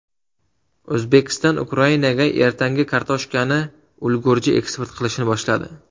O‘zbekiston Ukrainaga ertangi kartoshkani ulgurji eksport qilishni boshladi.